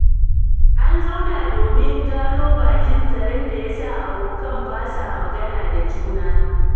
An zauna domin gano bakin zaren da ya sa abokan ba sa magana da juna.